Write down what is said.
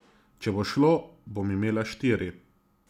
Če bo šlo, bom imela štiri.